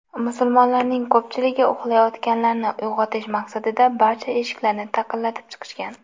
Musulmonlarning ko‘pchiligi uxlayotganlarni uyg‘otish maqsadida barcha eshiklarni taqillatib chiqishgan.